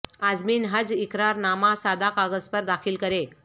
عازمین حج اقرار نامہ سادہ کاغذ پر داخل کریں